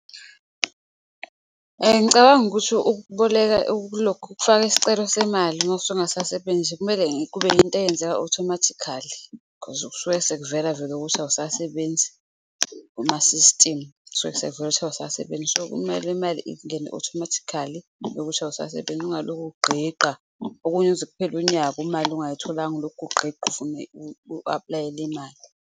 Ngicabanga ukuthi ukuboleka ukulokhu ukufaka isicelo semali masungasasebenzi kumele kube yinto eyenzeka othomathikhali khozi kusuke sekuvela vele ukuthi awusasebenzi, kumasisitimu kusuke sekuvela ukuthi awusasebenzi. So, kumele imali ingene othomathikhali yokuthi awusasebenzi, ungalokhu ugqigqa okunye kuze kuphele unyaka imali ungayitholanga, ulokhu ugqigqa ufuna u-aplayela imali.